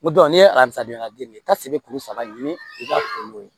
N n'i ye alasanidenya ta se kuru saba ɲini i ka kuru ye